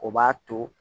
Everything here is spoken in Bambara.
O b'a to